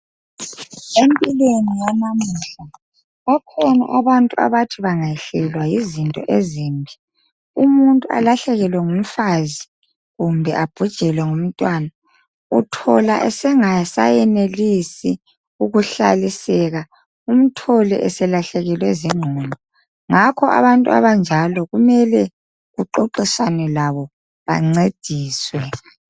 empilweni yanamuhla bakhona abantu abathi bengayehlela yizinto ezimbi umuntu olahlekelwe ngumfazi kumbe abhujelwe ngumntwana uthola engasakwanisi umthole sebelahlekelwe zinqondo njalo abantu abanjalo kumele baxoxiswane labo bancediswe